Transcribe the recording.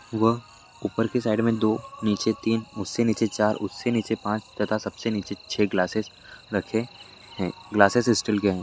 वह ऊपर की साइड मे दो नीचे तीन उससे नीचे चार उससे नीचे पाँच तथा सबसे नीचे छेह ग्लासेस रखे है ग्लासेस स्टील के है।